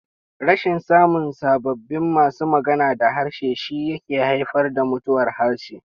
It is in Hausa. Rashin samun sababbin masu magana da harshe shi yake haifar da mutuwar harshe.